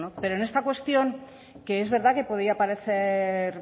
pero en esta cuestión que es verdad que podía parecer